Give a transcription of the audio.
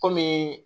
Kɔmi